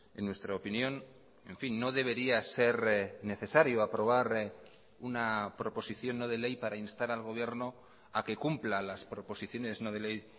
en nuestra opinión en fin no debería ser necesario aprobar una proposición no de ley para instar al gobierno a que cumpla las proposiciones no de ley